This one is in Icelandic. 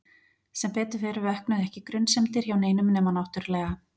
Sem betur fer vöknuðu ekki grunsemdir hjá neinum nema náttúrlega